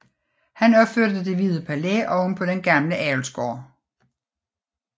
Han opførte Det Hvide Palæ ovenpå den gamle avlsgård